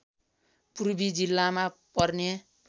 पूर्वी जिल्लामा पर्ने